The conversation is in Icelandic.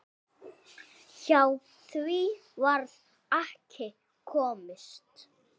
Hjá því varð ekki komist.